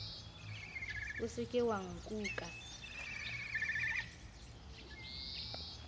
o se ke wa nkuka